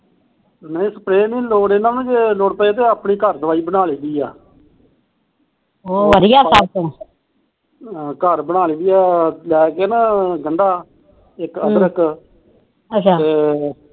ਨਹੀਂ ਸਪਰੈਹ ਦੀ ਨੀ ਲੋੜ ਇਹਨਾ ਨੂੰ ਜੇ ਲੋੜ ਪਵੇ ਤੇ ਆਪਣੀ ਘਰ ਦਵਾਈ ਬਣਾ ਲਈ ਦੀ ਆ ਉਹ ਘਰ ਬਣਾ ਲਈ ਦੀ ਆ ਲੈਕੇ ਨਾ ਗੰਡਾ ਇੱਕ ਅਦਰਕ ਤੇ